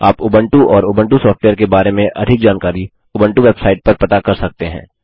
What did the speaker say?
आप उबंटू और Ubuntu software के बारे में अधिक जानकारी उबंटू वेबसाइट पर पता कर सकते हैं